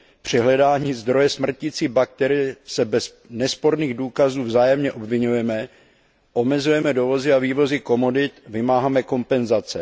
Při hledání zdroje smrtící bakterie se bez nesporných důkazů vzájemně obviňujeme, omezujeme dovozy a vývozy komodit, vymáháme kompenzace.